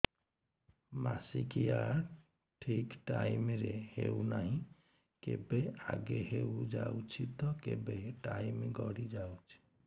ମାସିକିଆ ଠିକ ଟାଇମ ରେ ହେଉନାହଁ କେବେ ଆଗେ ହେଇଯାଉଛି ତ କେବେ ଟାଇମ ଗଡି ଯାଉଛି